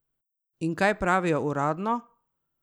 In kaj pravijo uradno?